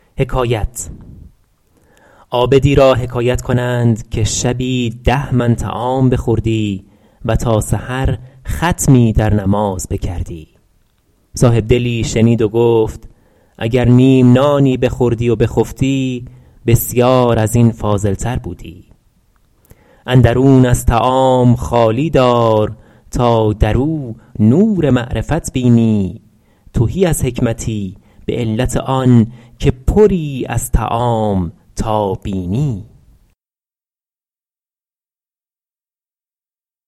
عابدی را حکایت کنند که شبی ده من طعام بخوردی و تا سحر ختمی در نماز بکردی صاحبدلی شنید و گفت اگر نیم نانی بخوردی و بخفتی بسیار از این فاضل تر بودی اندرون از طعام خالی دار تا در او نور معرفت بینی تهی از حکمتی به علت آن که پری از طعام تا بینی